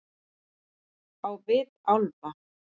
Á vit álfa.